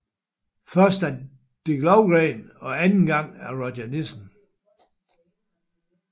Først af Dick Lövgren og anden gang af Roger Nilsson